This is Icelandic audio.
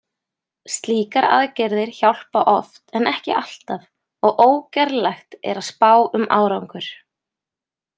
Slíkar aðgerðir hjálpa oft en ekki alltaf og ógerlegt er að spá um árangur.